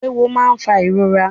Ewọ máa ń fà ìrora